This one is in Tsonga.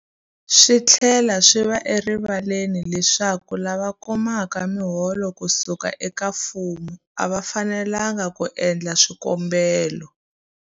Swi tlhela swi va erivaleni leswaku lava kumaka miholo ku suka eka mfumo a va fanelanga ku endla swikombelo.